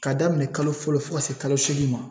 Ka daminɛ kalo fɔlɔ fo ka se kalo seegin ma.